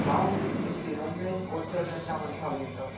Við lágum uppi í rúmi og töluðum saman í hálfum hljóðum.